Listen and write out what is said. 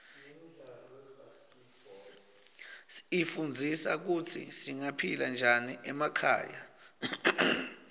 ifundzisa kutsi singaphila njani emakhaya